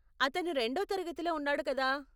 అతను రెండో తరగతిలో ఉన్నాడు కదా?